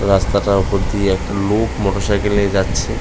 রাস্তা টার ওপর দিয়ে একটা লোক মোটর সাইকেল নিয়ে যাচ্ছে